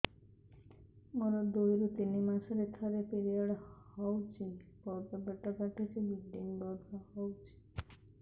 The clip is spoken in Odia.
ମୋର ଦୁଇରୁ ତିନି ମାସରେ ଥରେ ପିରିଅଡ଼ ହଉଛି ବହୁତ ପେଟ କାଟୁଛି ବ୍ଲିଡ଼ିଙ୍ଗ ବହୁତ ହଉଛି